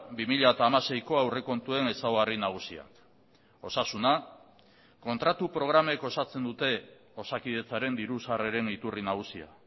bi mila hamaseiko aurrekontuen ezaugarri nagusiak osasuna kontratu programek osatzen dute osakidetzaren diru sarreren iturri nagusia